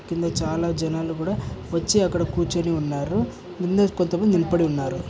కింద చాల జనాలు కూడ వచ్చి అక్కడ కూర్చొని ఉన్నారు. కొంతమంది నిలపడి ఉన్నారు.